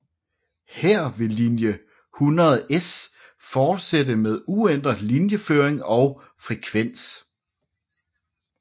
Her ville linje 100S fortsætte med uændret linjeføring og frekvens